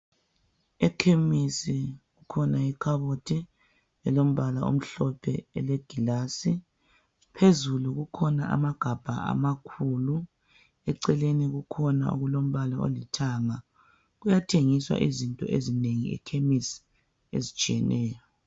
Ekhemisi kukhona ikhabothi elombala omhlophe elegilasi phezulu kukhona amagabha amakhulu eceleni kukhona okulombala olithanga kuyathengiswa izinto ezinengi ekhemisi ezitshiyeneyo.